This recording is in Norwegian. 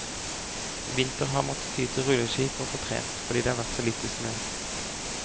I vinter har han måttet ty til rulleski for å få trent, fordi det har vært så lite snø.